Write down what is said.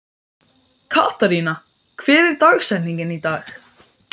Katharina, hver er dagsetningin í dag?